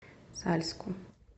сальску